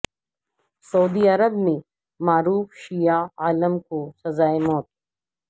سعودی Arab میں معروف شیعہ عالم کو سزائے موت